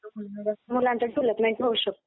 मुलांचा डेव्हलपमेंट होऊ शकतो.